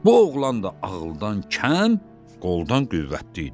Bu oğlan da ağıldan kəm, qoldan qüvvətli idi.